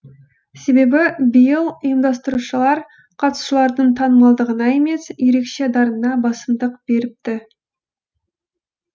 себебі биыл ұйымдастырушылар қатысушылардың танымалдығына емес ерекше дарынына басымдық беріпті